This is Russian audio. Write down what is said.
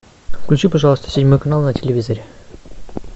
включи пожалуйста седьмой канал на телевизоре